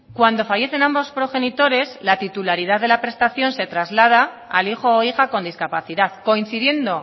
cuando fallecen ambos progenitores la titularidad de la prestación se traslada al hijo o hija con discapacidad coincidiendo